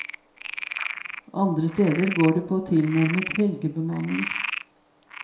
Andre steder går det på tilnærmet helgebemanning.